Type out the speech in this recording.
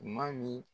Ma min